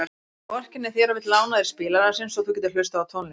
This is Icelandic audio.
Hann vorkennir þér og vill lána þér spilarann sinn svo þú getir hlustað á tónlist.